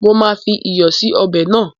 Mo máa fi iyọ̀ sì ọbẹ̀ náà.